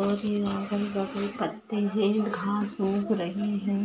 और यहाँ अगल बगल पत्ते है घास उग रही है।